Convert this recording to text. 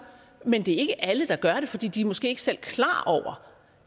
men det er ikke alle der gør det fordi de måske ikke selv